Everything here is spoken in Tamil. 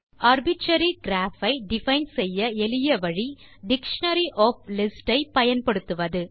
ஆர்பிட்ரரி கிராப் ஐ டிஃபைன் செய்ய எளிய வழி டிக்ஷனரி ஒஃப் லிஸ்ட்ஸ் ஐ பயன்படுத்துவது